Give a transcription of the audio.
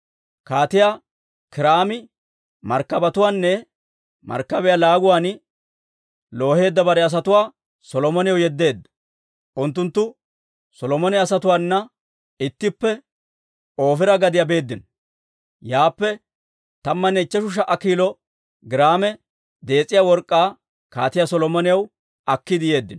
Kaatiyaa Kiiraami markkabetuwaanne markkabiyaa laaguwaan looheedda bare asatuwaa Solomonaw yeddeedda; unttunttu Solomone asatuwaanna ittippe Ofiira gadiyaa beeddino; yaappe tammanne ichcheshu sha"a kiilo giraame dees'iyaa work'k'aa Kaatiyaa Solomonaw akkiide yeeddino.